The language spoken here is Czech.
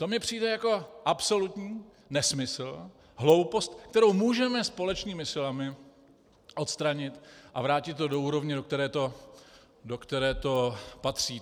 To mi přijde jako absolutní nesmysl, hloupost, kterou můžeme společnými silami odstranit a vrátit to do úrovně, do které to patří.